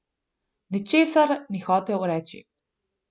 Ničesar ni hotel reči.